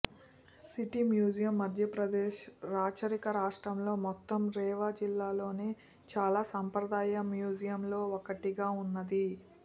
city museum Madhya Pradesh రాచరిక రాష్ట్రంలో మొత్తం రేవా జిల్లాలోనే చాలా సంప్రదాయ మ్యూజియంలలో ఒకటిగా ఉన్నది